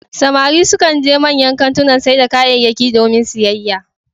Samari sukan je manyan kantunan sayar da kayyaki domin siyayya,